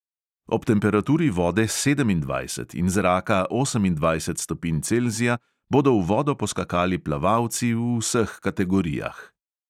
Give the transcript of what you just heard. Ob temperaturi vode sedemindvajset in zraka osemindvajset stopinj celzija bodo v vodo poskakali plavalci v vseh kategorijah.